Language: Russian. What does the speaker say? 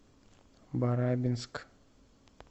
барабинск